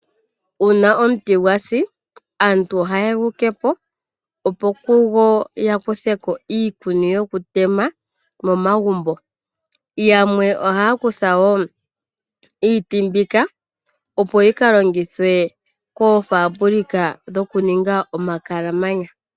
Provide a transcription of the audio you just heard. Uuna omuti gwa si aantu ohaye gu tete po, opo kugo ya kuthe ko iikuni yokutema momagumbo. Yamwe ohaya kutha wo iiti mbika opo yi ka longithwe koofambulika dhoku ninga omakalamanya.